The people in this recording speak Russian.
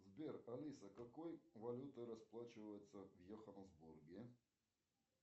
сбер алиса какой валютой расплачиваются в йоханнесбурге